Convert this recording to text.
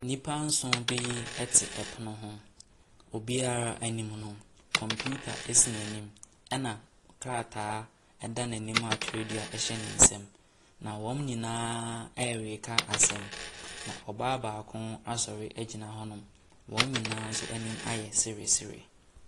Nnipa nson bi te pono ho, obiara anim no, kɔmpiita si n’anim na krataa da n’anim a twerɛdu kura ne nsamu. Na wɔn nyinaa ɛreka asɛm. Na ɔbaa baako asɔre agyina hɔnom, wɔn nyinaa nso anim ayɛ sere sere.